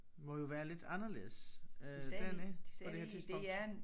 Må jo være lidt anderledes øh dernede på det her tidspunkt